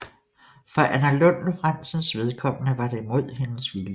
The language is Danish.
For Anna Lund Lorenzens vedkommende var det mod hendes vilje